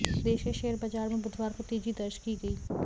देश के शेयर बाजार में बुधवार को तेजी दर्ज की गई